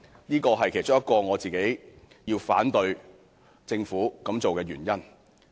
這是其中一個我反對政府這樣做的原因。